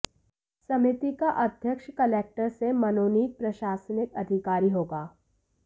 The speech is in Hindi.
समिति का अध्यक्ष कलक्टर से मनोनीत प्रशासनिक अधिकारी होगा